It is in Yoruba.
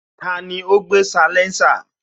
Tani ó gbé salénsà?